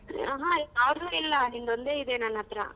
ಅಹ, ಯಾವದು ಇಲ್ಲ ನಿಂದೊಂದೆ ಇದೆ ನನ್ ಅತ್ರಾ.